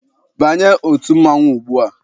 Banye otu mmanwụ ugbua!